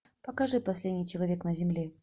покажи последний человек на земле